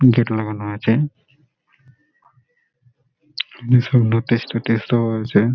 Gate লাগানো আছে ইসব নোটিস টোতিস ও আছে।